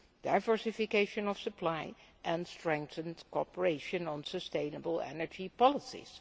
diversification of supply and strengthened cooperation on sustainable energy policies.